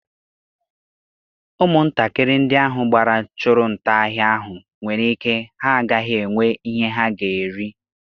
Ụmụntakịrị ndị ahụ gbara chụrụ nta ahịa ahụ nwere ike ha agaghị enwe ihe ha ga-eri.